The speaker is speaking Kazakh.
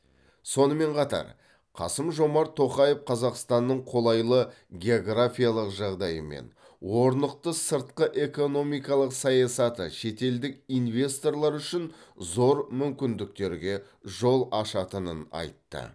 сонымен қатар қасым жомарт тоқаев қазақстанның қолайлы географиялық жағдайы мен орнықты сыртқы экономикалық саясаты шетелдік инвесторлар үшін зор мүмкіндіктерге жол ашатынын айтты